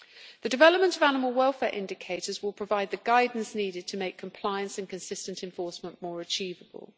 The development of animal welfare indicators will provide the guidance needed to make compliance and consistent enforcement more achievable.